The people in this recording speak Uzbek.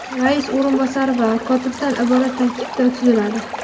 rais o‘rinbosari va kotibdan iborat tarkibda tuziladi.